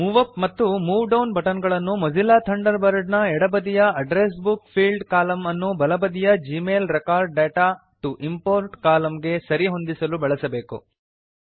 move up ಮತ್ತು move down button ಗಳನ್ನು Mozilla Thunderbird ನ ಎಡ ಬದಿಯ ಅಡ್ರೆಸ್ ಬುಕ್ ಫೀಲ್ಡ್ಸ್ ಕಾಲಮ್ ಅನ್ನು ಬಲ ಬದಿಯ Gmail record data to import column ಗೆ ಸರಿ ಹೊಂದಿಸಲು ಬಳಸಬೇಕು